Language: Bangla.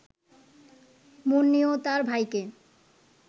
মুন্নি ও তার ভাইকে